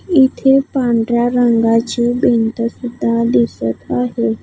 इथे पांढऱ्या रंगाची भिंत सुद्धा दिसत आहे.